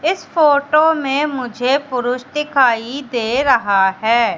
इस फोटो में मुझे पुरुष दिखाई दे रहा है।